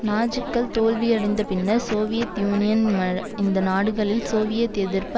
நாஜிக்கள் தோல்வியடைந்த பின்னர் Soviet Union இந்த நாடுகளில் சோவியத் எதிர்ப்பு